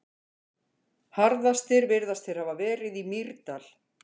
Harðastir virðast þeir hafa verið í Mýrdal.